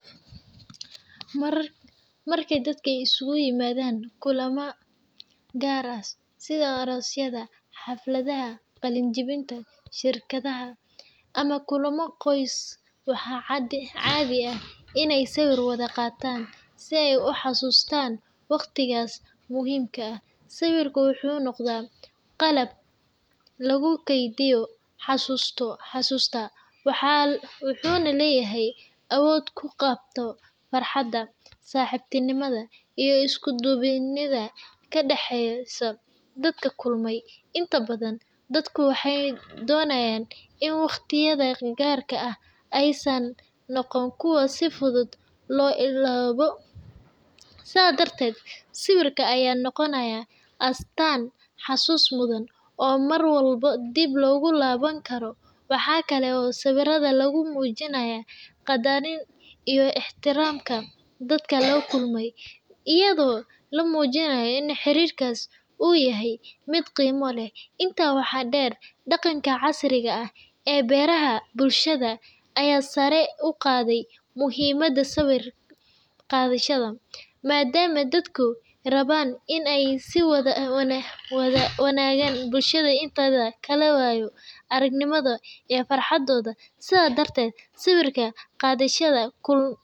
Marka dadka isugu yimaadaan kulamo gaar ah sida aroosyada, xafladaha qalin-jabinta, shirarka ama kulamo qoys, waxaa caadi ah in ay sawir wada qaataan si ay u xasuustaan waqtigaas muhiimka ah. Sawirku wuxuu noqday qalab lagu kaydiyo xasuusta, wuxuuna leeyahay awood uu ku qabto farxadda, saaxiibtinimada, iyo isku duubnida ka dhexeysa dadka kulmay. Inta badan, dadku waxay doonayaan in waqtiyada gaarka ah aysan noqon kuwo si fudud loo illoobo, sidaas darteed sawirka ayaa noqonaya astaan xusuus mudan oo mar walba dib loogu laaban karo. Waxaa kale oo sawirada lagu muujiyaa qadarin iyo ixtiraam dadka la kulmay, iyadoo la muujinayo in xiriirkaas uu yahay mid qiimo leh. Intaa waxaa dheer, dhaqanka casriga ah ee baraha bulshada ayaa sare u qaaday muhiimadda sawir qaadashada, maadaama dadku rabaan in ay la wadaagaan bulshada inteeda kale waayo-aragnimadooda iyo farxaddooda. Sidaas darteed, sawir qaadashada kulama.